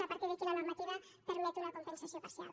a partir d’aquí la normativa permet una compensació parcial